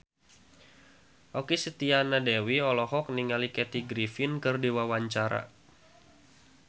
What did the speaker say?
Okky Setiana Dewi olohok ningali Kathy Griffin keur diwawancara